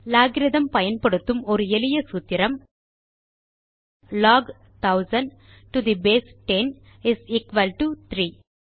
logarithm பயன்படுத்தும் ஒரு எளிய சூத்திரம் log 1000 to the base 10 is equal to 3